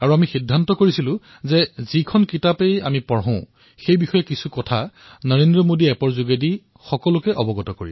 আমি সিদ্ধান্ত গ্ৰহণ কৰিছিলো যে যিয়েই গ্ৰন্থ নপঢ়ো কিয় তাৰে কিছুমান বিশেষ কথা নৰেন্দ্ৰ মোদী এপত বিনিময় কৰা উচিত